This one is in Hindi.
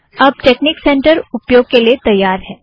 अब टेकनिक सेंटर उपयोग के लिए तैयार है